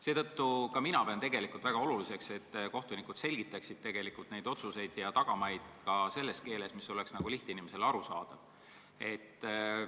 Seetõttu pean ma väga oluliseks, et kohtunikud selgitaksid otsuseid ja nende tagamaid sellises keeles, mis oleks lihtinimesele arusaadav.